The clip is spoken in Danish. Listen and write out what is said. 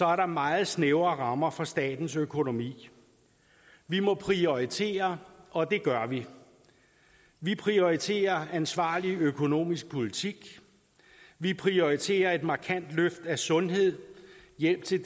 er der meget snævre rammer for statens økonomi vi må prioritere og det gør vi vi prioriterer ansvarlig økonomisk politik vi prioriterer et markant løft af sundhed hjælp til